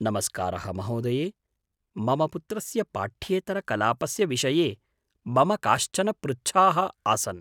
नमस्कारः महोदये! मम पुत्रस्य पाठ्येतरकलापस्य विषये मम काश्चन पृच्छाः आसन्।